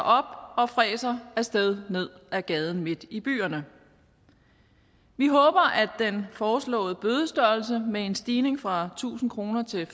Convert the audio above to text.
og fræser af sted ned ad gaden midt i byerne vi håber at den foreslåede bødestørrelse med en stigning fra tusind kroner til